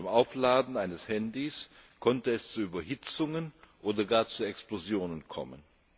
Beim Aufladen eines Handys konnte es zu Überhitzungen oder sogar zu Explosionen kommen.